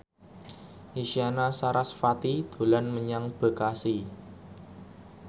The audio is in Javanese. Isyana Sarasvati dolan menyang Bekasi